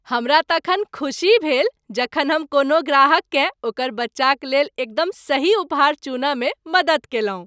हमरा तखन खुशी भेल जखन हम कोनो ग्राहक केँ ओकर बच्चाक लेल एकदम सही उपहार चुनय मे मदद कयलहुँ।